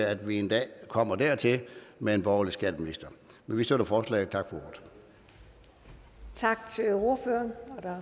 at vi en dag kommer dertil med en borgerlig skatteminister men vi støtter forslaget tak